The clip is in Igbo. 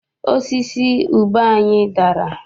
Osisi ube anyị dara.